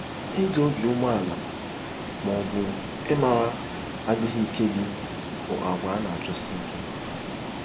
Ịdị obi umeala, ma ọ bụ ịmara adịghị ike gị, bụ àgwà a na-achọsi ike.